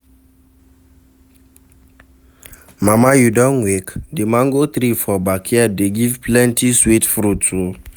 Mama you don wake? The mango tree for backyard dey give plenty sweet fruits o.